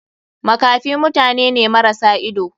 Makafi mutane ne marasa idanu.